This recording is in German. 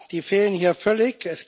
Die fehlen hier völlig.